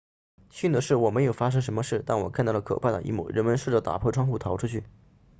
幸运的是我没有发生什么事但我看到了可怕的一幕人们试着打破窗户逃出去